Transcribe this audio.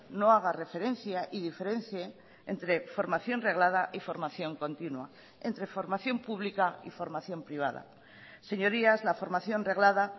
no haga referencia y diferencie entre formación reglada y formación continua entre formación pública y formación privada señorías la formación reglada